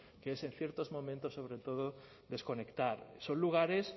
que es en ciertos momentos sobre todo desconectar son lugares